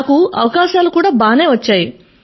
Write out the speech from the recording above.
నాకు అవకాశాలు కూడా బాగానే వచ్చాయి